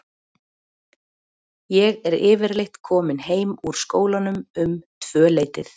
Ég er yfirleitt komin heim úr skólanum um tvöleytið.